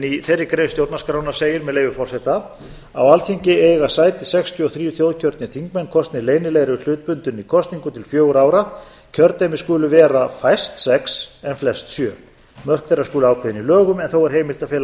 í þeirri grein stjórnarskrárinnar segir með leyfi forseta á alþingi eiga sæti sextíu og þrjú þjóðkjörnir þingmenn kosnir leynilegri hlutbundinni kosningu til fjögurra ára kjördæmi skulu vera fæst sex en flest sjö mörk þeirra skulu ákveðin í lögum en þó er heimilt að fela